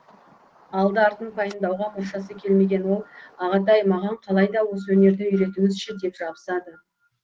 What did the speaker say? алды артын пайымдауға мұршасы келмеген ол ағатай маған қалайда осы өнерді үйретіңізші деп жабысады